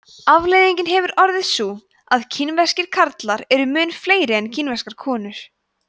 afleiðingin hefur orðið sú að kínverskir karlar eru mun fleiri en kínverskar konur